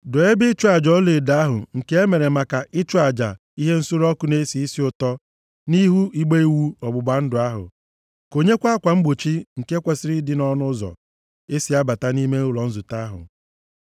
Doo ebe ịchụ aja ọlaedo ahụ nke e mere maka ịchụ aja ihe nsure ọkụ na-esi isi ụtọ nʼihu igbe iwu ọgbụgba ndụ ahụ. Konyekwa akwa mgbochi nke kwesiri ịdị nʼọnụ ụzọ e si abata nʼime ụlọ nzute ahụ.